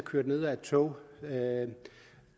kørt ned af et tog og